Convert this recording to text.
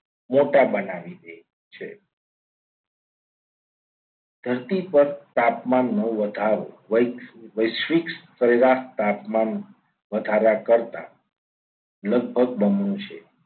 મોટા બનાવી દે છે ધરતી પર તાપમાનનો વધારો વૈશ્વિક સ્તરે સરેરાશ તાપમાનનો વધારો કરતા લગભગ બમણો છે.